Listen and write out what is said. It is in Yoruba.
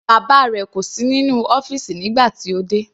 Bàbá rẹ̀ kò sí nínú ọ́fìsì nígbà tí ó dé.